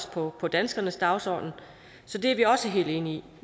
på på danskernes dagsorden så det er vi også helt enige i